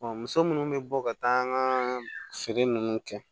muso munnu bɛ bɔ ka taa an ga feere nunnu kɛ